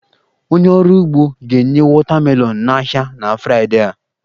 Onye ọrụ ugbo ga-enye watermelon n'ahịa na Fraịdee a